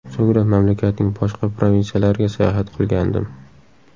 So‘ngra mamlakatning boshqa provinsiyalariga sayohat qilgandim.